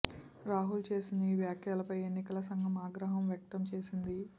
రాహుల్ చేసిన ఈ వ్యాఖ్యలపై ఎన్నికల సంఘం ఆగ్రహం వ్యక్తం చేసింది